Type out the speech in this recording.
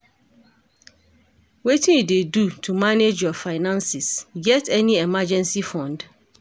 Wetin you dey do to manage your finances, you get any emergency fund?